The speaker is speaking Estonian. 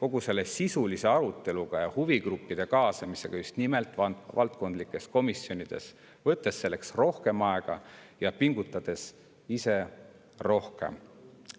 kogu sisulise aruteluga ja huvigruppide kaasamisega just nimelt valdkondlikes komisjonides, võttes selleks rohkem aega ja pingutades ise rohkem.